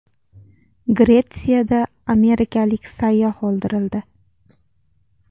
Gretsiyada amerikalik sayyoh o‘ldirildi.